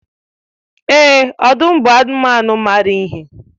Èè, ọdụm bụ anụmanụ maara ihe.